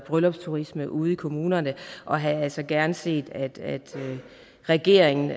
bryllupsturisme ude i kommunerne og havde altså gerne set at regeringen